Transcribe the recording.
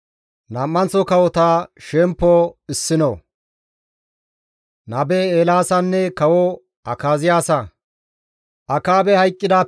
Akaabey hayqqidaappe guye Mo7aabe derey Isra7eele dere bolla dendides.